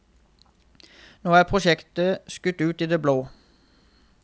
Nå er prosjektet skutt ut i det blå.